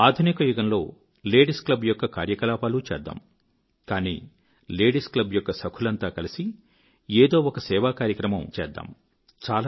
ఆధునిక యుగంలో ladies club యొక్క కార్యకలాపాలూ చేద్దాం కానీ లేడీస్ క్లబ్ యొక్క సఖులంతా కలసి ఏదో ఒక సేవాకార్యక్రమం అందరు కలసి చేద్దాం